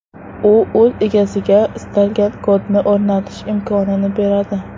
U o‘z egasiga istalgan kodni o‘rnatish imkonini beradi.